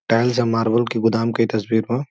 Tiles आ marble के गोदाम के तस्वीर बा।